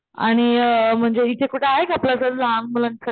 आणि म्हणजे इथे कुठे आहे का आपलं असं लहान मुलांसाठी,